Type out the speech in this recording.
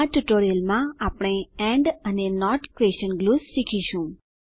આ ટ્યુટોરીયલમાં આપણે એન્ડ અને નોટ ક્વેશન ગ્લુઝ શીખીશું